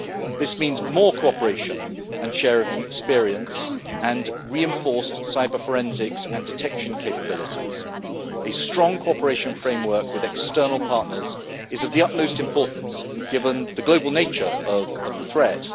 This means more cooperation and sharing of experience and reinforced cyber forensics and detection capabilities. A strong cooperation framework with external partners is of the utmost importance, given the global nature of the threat.